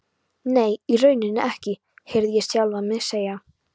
Nei, í rauninni ekki, heyrði ég sjálfan mig segja.